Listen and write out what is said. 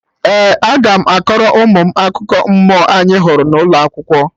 Ee, aga m akọrọ ụmụ m akụkọ mmụọ anyị hụrụ n'ụlọ akwụkwọ